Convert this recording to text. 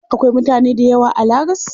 Akwai mutane dayawa a lagas?